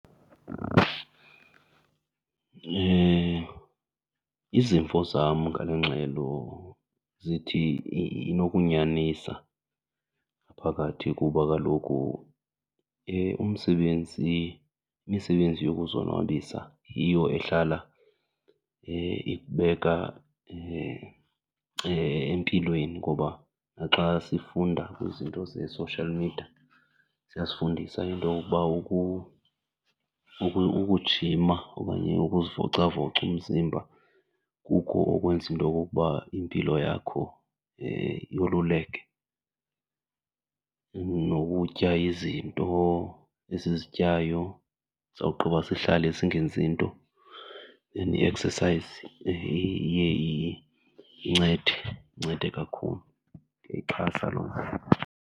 izimvo zam ngale ngxelo zithi inokunyanisa phakathi kuba kaloku umsebenzi, imisebenzi yokuzonwabisa yiyo ehlala ikubeka empilweni ngoba naxa sifunda kwizinto ze-social media ziyasifundisa into yokuba ukujima okanye ukuzivocavoca umzimba kuko okwenza into okokuba impilo yakho yoluleke. Nokutya izinto esizityayo sawugqiba sihlale singenzi nto and then i-exercise iye incede, incede kakhulu. Ndiyayixhasa loo nto.